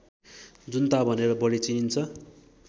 जुन्ता भनेर बढी चिनिन्छ